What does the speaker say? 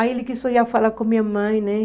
Aí ele quis foi lá falar com a minha mãe, né?